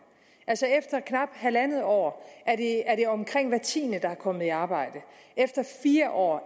altså efter knap halvandet år er det omkring hver tiende der er kommet i arbejde efter fire år